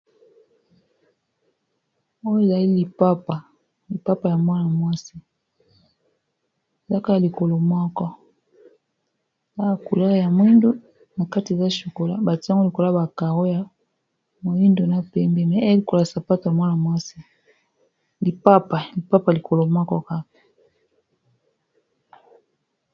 Oyo ezali lipapa ya mwana mwasi ezaka ya lokolo moko ya couleur ya mwindo na kati eza chocolat bati yango likola ya ba karo ya moyindo na pembe, sapato ya mwasi lipapa lokolo moko.